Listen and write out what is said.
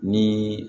Ni